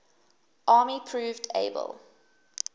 army proved able